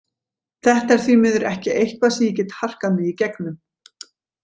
Þetta er því miður ekki eitthvað sem ég get harkað mig í gegnum.